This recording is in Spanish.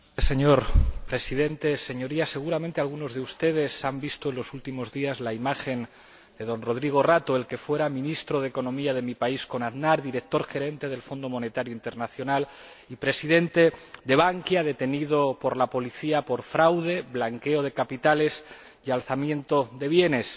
Señor Presidente, Señorías, seguramente algunos de ustedes han visto los últimos días la imagen de don Rodrigo Rato, el que fuera ministro de Economía de mi país con Aznar, director gerente del Fondo Monetario Internacional y presidente de Bankia, detenido por la policía por fraude, blanqueo de capitales y alzamiento de bienes.